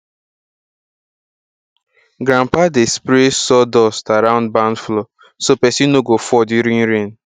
grandpa dey spray sawdust around barn floor so pesin no go fall during rain